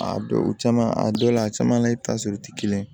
A dɔw o caman a dɔw la a caman la i bɛ taa sɔrɔ u tɛ kelen ye